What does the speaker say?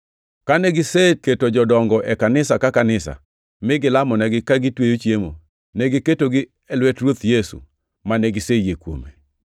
Kane giseketo jodongo e kanisa ka kanisa, mi gilamonegi ka gitweyo chiemo, negiketogi e lwet Ruoth Yesu mane giseyie kuome.